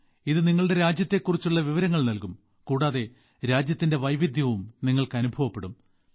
ഇത് നിങ്ങളുടെ രാജ്യത്തെക്കുറിച്ചുള്ള വിവരങ്ങൾ നൽകും കൂടാതെ രാജ്യത്തിന്റെ വൈവിധ്യവും നിങ്ങൾക്ക് അനുഭവപ്പെടും